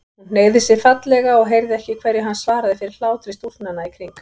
Hún hneigði sig fallega og heyrði ekki hverju hann svaraði fyrir hlátri stúlknanna í kring.